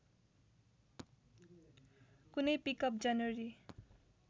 कुनै पिकअप जनवरी